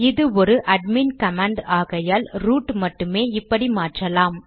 இது ஒரு admin command ஆகையால் ரூட் மட்டுமே இப்படி மாற்றலாம்